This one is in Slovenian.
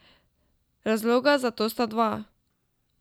Razloga za to sta dva.